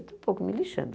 Estou pouco me lixando.